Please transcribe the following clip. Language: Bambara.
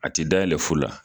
A ti dayɛlɛ fuu la.